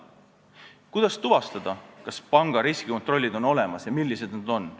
Kuidas tuvastada, kas panga riskikontroll on olemas ja milline see on?